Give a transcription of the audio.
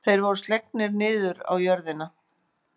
Þeir voru slegnir niður á jörðina.